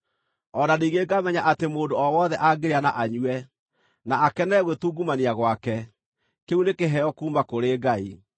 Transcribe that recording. O na ningĩ ngamenya atĩ mũndũ o wothe angĩrĩa na anyue, na akenere gwĩtungumania gwake, kĩu nĩ kĩheo kuuma kũrĩ Ngai.